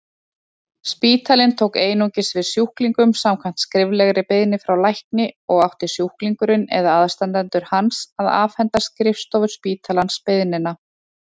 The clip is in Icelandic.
Spítalinn tók einungis við sjúklingum samkvæmt skriflegri beiðni frá lækni og átti sjúklingurinn eða aðstandendur hans að afhenda skrifstofu spítalans beiðnina.